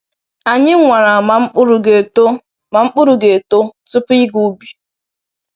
Anyị nwara ma mkpụrụ ga-eto ma mkpụrụ ga-eto tupu ịga ubi.